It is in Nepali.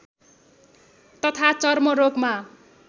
तथा चर्मरोगमा